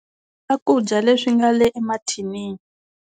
Swakudya leswi nga le emathinini.